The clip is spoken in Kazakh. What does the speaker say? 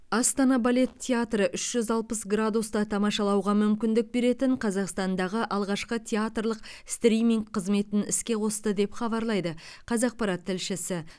астана балет театры үш жүз алпыс градуста тамашалауға мүмкіндік беретін қазақстандағы алғашқы театрлық стриминг қызметін іске қосты деп хабарлайды қазақпарат тілшісі